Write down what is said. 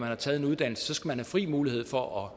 har taget en uddannelse skal man have fri mulighed for at